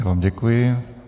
Já vám děkuji.